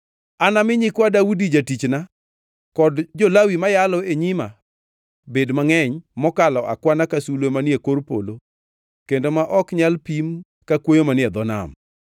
Anami nyikwa Daudi jatichna kod jo-Lawi ma yalo e nyima bed mangʼeny mokalo akwana ka sulwe manie kor polo kendo ma ok nyal pim ka kwoyo manie dho nam.’ ”